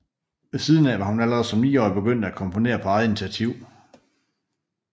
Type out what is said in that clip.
Ved siden af var hun allerede som niårig begyndt at komponere på eget initiativ